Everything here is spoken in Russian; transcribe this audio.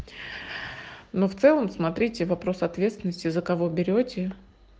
но в целом смотрите вопрос ответственности за кого берете